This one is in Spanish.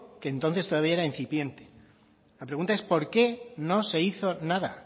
que entonces todavía era incipiente la pregunta es por qué no se hizo nada